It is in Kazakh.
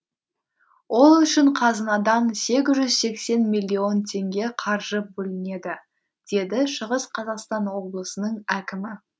ол үшін қазынадан сегіз жүз сексен миллион теңге қаржы бөлінеді деді шығыс қазақстан облысының әкімі